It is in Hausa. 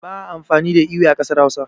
ba a amfani da ewe a kasar Hausa